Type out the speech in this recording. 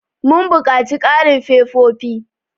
Mun buƙaci ƙarin fefofi.